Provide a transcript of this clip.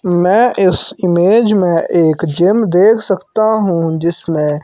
मैं इस इमेज में एक जिम देख सकता हूं जिसमें--